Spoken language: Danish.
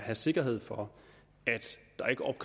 have sikkerhed for